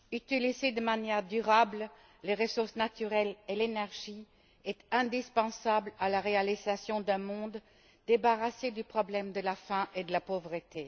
Utiliser de manière durable les ressources naturelles et l'énergie est indispensable à la réalisation d'un monde débarrassé du problème de la faim et de la pauvreté.